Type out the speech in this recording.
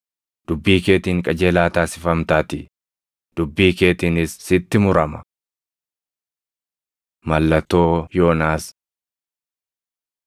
Dubbii keetiin qajeelaa taasifamtaatii; dubbii keetiinis sitti murama.” Mallattoo Yoonaas 12:39‑42 kwf – Luq 11:29‑32 12:43‑45 kwf – Luq 11:24‑26